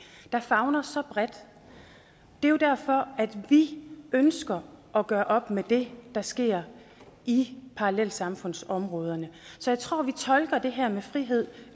der favner så bredt det er jo derfor at vi ønsker at gøre op med det der sker i parallelsamfundsområderne så jeg tror vi tolker det her med frihed